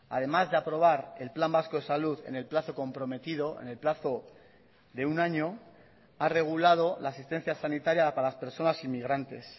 además de aprobar el plan vasco de salud en el plazo comprometido en el plazo de un año ha regulado la asistencia sanitaria para las personas inmigrantes